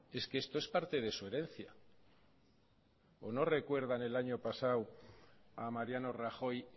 es que esto es parte de su herencia o no recuerdan el año pasado a mariano rajoy